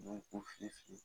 U b'u ku fili fili